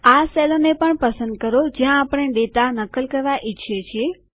એ કોષોને પણ પસંદ કરો જ્યાં આપણે ડેટા નકલ કરવા ઈચ્છીએ છીએ